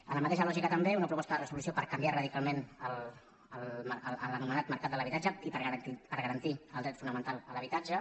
en la mateixa lògica també una proposta de resolució per canviar radicalment l’anomenat mercat de l’habi·tatge i per garantir el dret fonamental a l’habitatge